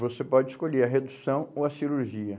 Você pode escolher a redução ou a cirurgia.